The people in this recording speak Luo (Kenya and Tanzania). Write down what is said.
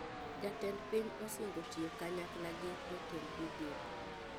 Jatend piny osingo tiyo kanyakla gi jotend migepe